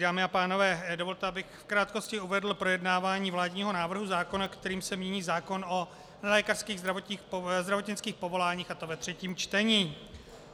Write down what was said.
Dámy a pánové, dovolte, abych v krátkosti uvedl projednávání vládního návrhu zákona, kterým se mění zákon o nelékařských zdravotnických povoláních, a to ve třetím čtení.